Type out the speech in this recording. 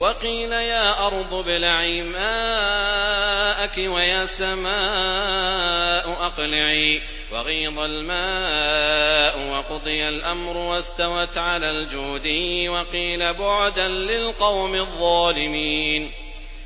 وَقِيلَ يَا أَرْضُ ابْلَعِي مَاءَكِ وَيَا سَمَاءُ أَقْلِعِي وَغِيضَ الْمَاءُ وَقُضِيَ الْأَمْرُ وَاسْتَوَتْ عَلَى الْجُودِيِّ ۖ وَقِيلَ بُعْدًا لِّلْقَوْمِ الظَّالِمِينَ